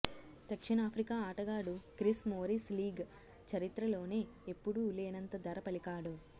దక్షిణాఫ్రికా ఆటగాడు Chris Morris league చరిత్రలోనే ఎప్పుడూ లేనంత ధర పలికాడు